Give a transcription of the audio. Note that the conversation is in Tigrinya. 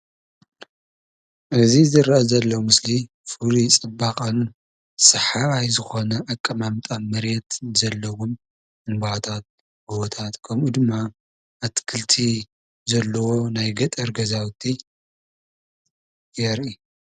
እዚ ዝርአ ዘሎ ምስሊ ፍሉይ ፅባቐን ስሓባይ ዝኾነ ኣቀማምጣን መሬት ብዘለዎም ልምዓታት፣ ጎቦታት ከምኡ ድማ ኣትክልቲ ዘለዎ ናይ ገጠር ገዛውቲ የርኢ፡፡